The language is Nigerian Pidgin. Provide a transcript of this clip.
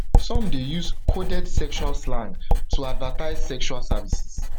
some dey use coded sexual slang to advertise sexual services